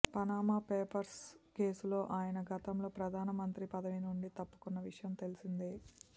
Panama Papers కేసులో ఆయన గతంలో ప్రధానమంత్రి పదవి నుండి తప్పుకున్న విషయం తెలిసిందే